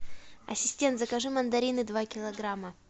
ассистент закажи мандарины два килограмма